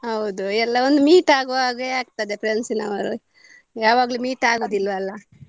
ಹೌದು ಎಲ್ಲ ಒಂದು meet ಆಗುವ ಹಾಗೆ ಆಗ್ತದೆ friends ನವರು ಯಾವಾಗ್ಲೂ meet ಆಗೋದಿಲ್ಲ ಅಲ.